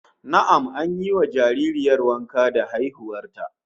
Na'am, an yi wa jaririyar wanka da haihuwar ta